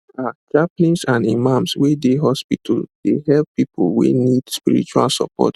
ah chaplains and imams wey dey hospital dey help people wey need spiritual support